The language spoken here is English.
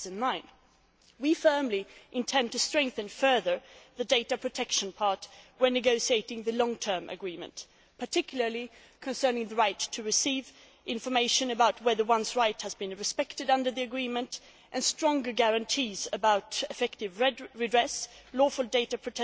2009. We firmly intend to strengthen further the data protection part when negotiating the long term agreement, particularly concerning the right to receive information about whether one's rights have been respected under the agreement, and stronger guarantees about effective redress, lawful data